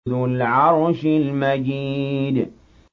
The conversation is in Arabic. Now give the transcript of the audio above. ذُو الْعَرْشِ الْمَجِيدُ